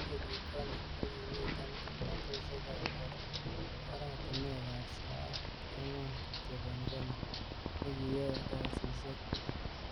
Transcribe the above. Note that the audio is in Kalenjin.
En kenyit konye, kokimiten kimnotisiek ab oratinwek ab soet angwan kityok en Kenya, nekiyoe kasisiek tugul.